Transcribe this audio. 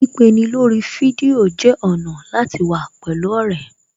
Pípeni lórí fídíò jẹ́ ọ̀nà láti wà pẹ̀lú ọ̀rẹ́